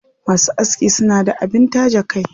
Masu aski suna da abin taje kai.